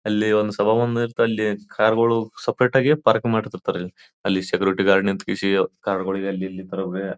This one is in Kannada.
ಅಲ್ಲಿ ಒಂದು ಸಭಾ ಮಂದಿರ್ತಲ್ಲಿ ಕಾರು ಗಳು ಸೆಪೆರೇಟ್ ಆಗಿ ಪಾರ್ಕ್ ಮಾಡ್ತಿರ್ತಾರೆ ಅಲ್ಲಿ ಸೆಕ್ಯೂರಿಟಿ ಗಾರ್ಡ್ ಗಳು ನಿಂತುಗೆಸಿ ಕಾರು ಗಳಿಗೆ ಅಲ್ಲಿ ಇಲ್ಲಿ ತರ್ಬಿ--